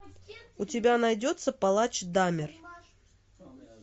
у тебя найдется палач дамер